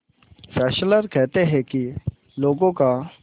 Fessler कहते हैं कि लोगों का